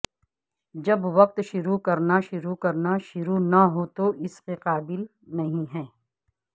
جب وقت شروع کرنا شروع کرنا شروع نہ ہو تو اس کے قابل نہیں ہے